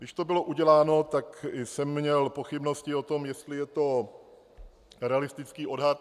Když to bylo uděláno, tak jsem měl pochybnosti o tom, jestli je to realistický odhad.